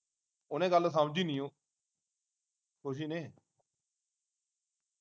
ਉਹਨੇ ਗੱਲ ਸਮਝੀ ਨੀ ਉਹ ਖੁਸ਼ੀ ਨੇ